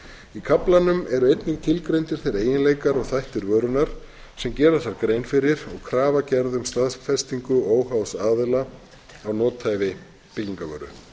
í kaflanum eru einnig tilgreindir þeir eiginleikar og þættir vörunnar sem gera þarf grein fyrir og krafa gerð um staðfestingu óháðs aðila á nothæfi byggingarvöru